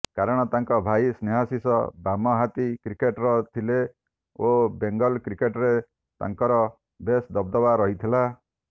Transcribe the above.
କାରଣ ତାଙ୍କ ଭାଇ ସ୍ନେହାଶିଷ ବାମହାତୀ କ୍ରିକେଟର ଥିଲେ ଓ ବେଙ୍ଗଲ କ୍ରିକେଟରେ ତାଙ୍କର ବେଶ ଦବଦବା ରହିଥିଲା